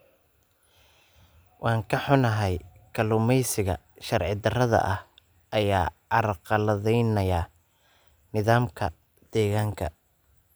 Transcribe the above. Waan ka xunahay, kalluumaysiga sharci darrada ah ayaa carqaladaynaya nidaamka deegaanka.